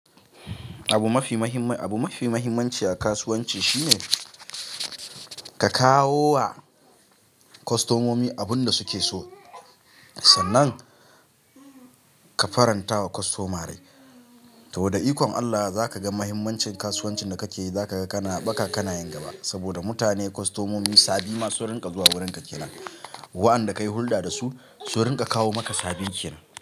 Abu mafi mahimmanci a kasuwanci shine ka kawo wa kostomomi abin da suke so, sannan ka faranta wa kostoma rai. To da ikon Allah za ka ga mahimmancin kasuwancin da ka ke yi, za ka ga kana ba ka kanayin gaba. Saboda mutane, kostomomi, sabi ma sun rinƙa zuwa wurinka kenan. Waɗanda ka yi hulɗa da su, su rinƙa kawo maka sabin kenan.